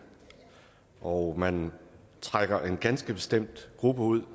og man trækker en ganske bestemt gruppe ud